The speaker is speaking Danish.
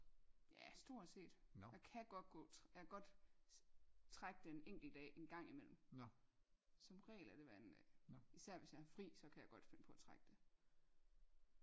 Ja stort set der kan godt gå jeg kan godt trække den en enkelt dag en gang imellem som regel er det hver anden især hvis jeg har fri så kan jeg godt finde på at trække det